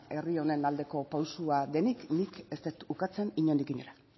herri honen aldeko pausua denik nik ez dut ukatzen inondik inora